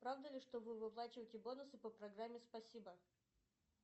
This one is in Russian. правда ли что вы выплачиваете бонусы по программе спасибо